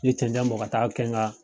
ye cɛncɛn bɔ ka taa kɛ n ka